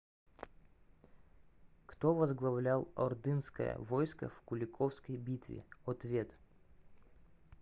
кто возглавлял ордынское войско в куликовской битве ответ